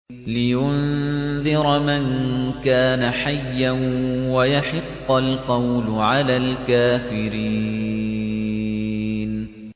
لِّيُنذِرَ مَن كَانَ حَيًّا وَيَحِقَّ الْقَوْلُ عَلَى الْكَافِرِينَ